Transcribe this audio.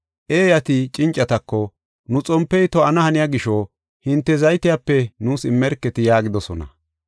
Eeyati cincatako, ‘Nu xompey to7ana haniya gisho, hinte zaytiyape nuus immerketi’ yaagidosona.